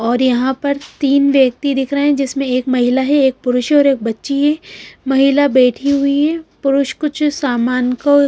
और यहां पर तीन व्यक्ति दिख रहे हैं जिसमें एक महिला है एक पुरुष है और एक बच्ची है महिला बैठी हुई है पुरुष कुछ सामान को--